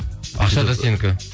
ақша да сенікі